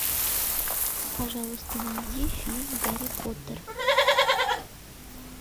пожалуйста найди фильм гарри поттер